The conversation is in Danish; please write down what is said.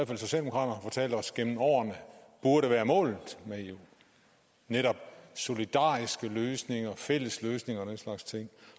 fald socialdemokraterne os gennem årene burde være målet med eu netop solidariske løsninger fælles løsninger og den slags ting